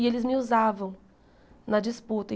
E eles me usavam na disputa.